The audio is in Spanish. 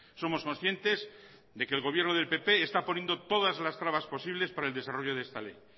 somos conscientes de que el gobierno del pp está poniendo todas las trabas posibles para el desarrollo de esta ley